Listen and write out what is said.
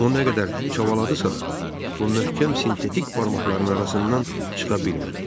O nə qədər çabaladısa da, bu möhkəm sintetik barmaqların arasından çıxa bilmədi.